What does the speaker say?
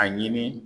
A ɲini